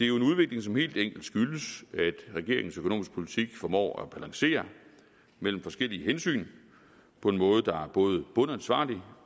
jo en udvikling som helt enkelt skyldes at regeringens økonomiske politik formår at balancere mellem forskellige hensyn på en måde der både bundansvarlig